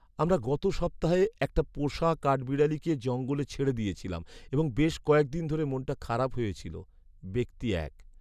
আমরা গত সপ্তাহে একটা পোষা কাঠবিড়ালিকে জঙ্গলে ছেড়ে দিয়েছিলাম এবং বেশ কয়েক দিন ধরে মনটা খারাপ হয়ে ছিল। ব্যক্তি এক